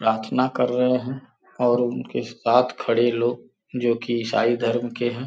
प्रार्थना कर रहे हैं और उनके साथ खड़े लोग जो कि ईसाईं धर्म के हैं।